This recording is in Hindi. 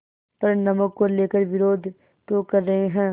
पर नमक को लेकर विरोध क्यों कर रहे हैं